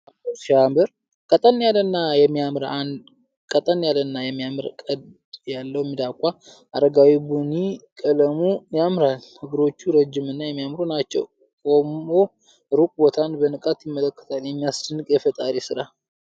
ዋው ሲያምር! ቀጠን ያለና የሚያማምር ቀንድ ያለው ሚዳቋ። አረጋዊ ቡኒ ቀለሙ ያምራል። እግሮቹ ረጅም እና የሚያማምሩ ናቸው። ቆሞ ሩቅ ቦታን በንቃት ይመለከታል። የሚያስደንቅ የፈጣሪ ስራ!